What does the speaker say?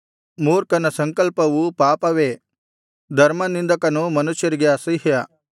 ಮೂರ್ಖನ ಸಂಕಲ್ಪವು ಪಾಪವೇ ಧರ್ಮನಿಂದಕನು ಮನುಷ್ಯರಿಗೆ ಅಸಹ್ಯ